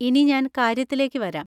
ഇനി ഞാൻ കാര്യത്തിലേക്ക് വരാം.